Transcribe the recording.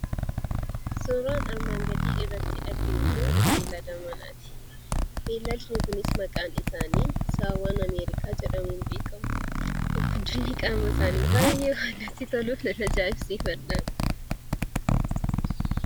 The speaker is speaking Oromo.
Suuraan armaan gadii irratti arginu kun beeylada manaa ti. Beeyladni kunis maqaan isaanii saawwan Amerikaa jedhamuun beeekamu. Gurguddinni qaama isaanii baay'ee waan natti toluuf nan ajaa'ibsiifadhaan.